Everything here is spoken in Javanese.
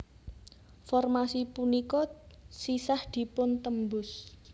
Formasi punika sisah dipun tembus